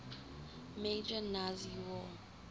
major nazi war